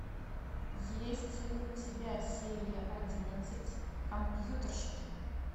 есть ли у тебя серия одиннадцать компьютерщики